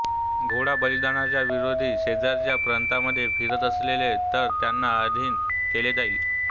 घोडा बलिदानाच्या विरोधी शेजारच्या प्रांतांमध्ये फिरत असेल तर त्यांना अधीन केले जाईल